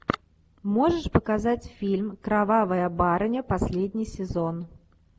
можешь показать фильм кровавая барыня последний сезон